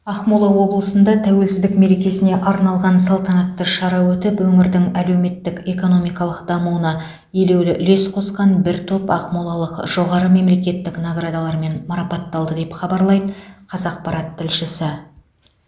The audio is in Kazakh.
ақмола облысында тәуелсіздік мерекесіне арналған салтанатты шара өтіп өңірдің әлеуметтік экономикалық дамуына елеулі үлес қосқан бір топ ақмолалық жоғары мемлекеттік наградалармен марапатталды деп хабарлайды қазақпарат тілшісі